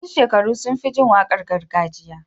masu shekaru sunfi jin waƙar gargajiya